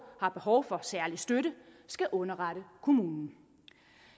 har behov for særlig støtte skal underrette kommunen